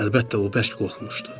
Əlbəttə, o bərk qorxmuşdu.